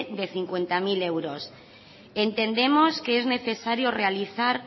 de cincuenta mil euros entendemos que es necesario realizar